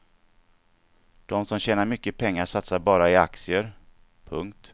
De som tjänar mycket pengar satsar bara i aktier. punkt